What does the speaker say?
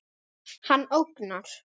Hann ógnar.